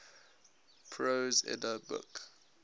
prose edda book